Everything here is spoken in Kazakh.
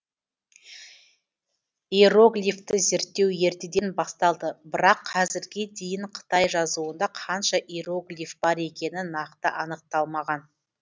иероглифті зерттеу ертеден басталды бірақ қазірге дейін қытай жазуында қанша иероглиф бар екені нақты анықталмаған